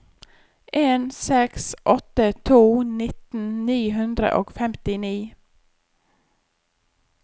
en seks åtte to nitten ni hundre og femtini